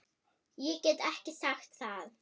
Ég get ekki sagt það.